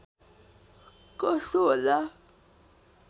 कसो होला